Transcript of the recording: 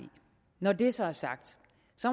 når det så er sagt